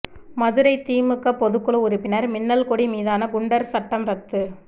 மதுரை திமுக பொதுக்குழு உறுப்பினர் மின்னல்கொடி மீதான குண்டர் சட்டம் ரத்து